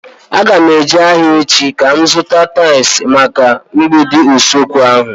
Aga m eje ahịa echi ka m zụta tais maka mgbidi usekwu ahu